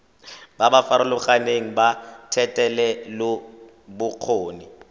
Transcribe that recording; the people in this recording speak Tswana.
ba ba farologaneng ba thetelelobokgoni